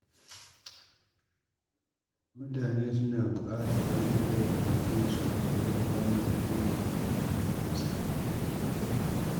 Mutane suna buƙatar wanda zai fahimce su fiye da wanda zai yi musu hukunci.